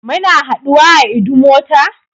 Muna haduwa a Idumota?